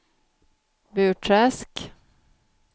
Burträsk